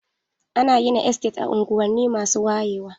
Ana gina Estate a unguwanni masu wayewa.